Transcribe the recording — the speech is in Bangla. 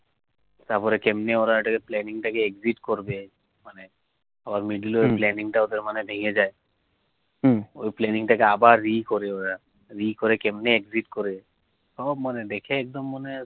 তারপরে কেমনি ওরা planning টা কে exit করবে মানে আর middle ও ওদের মানে ভেঙে জয়ে, ঊই planning টা কে আবার re করে ওরা re করে কেমনি exit করে, সব মানে দেখে